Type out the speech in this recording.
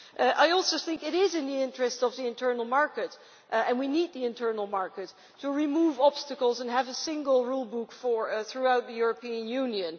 I also think it is in the interest of the internal market, and we need the internal market to remove obstacles and have a single rule book throughout the European Union.